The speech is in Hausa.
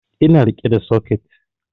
Ina riƙe da soket